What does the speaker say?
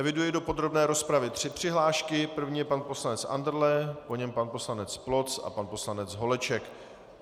Eviduji do podrobné rozpravy tři přihlášky, první je pan poslanec Andrle, po něm pan poslanec Ploc a pan poslanec Holeček.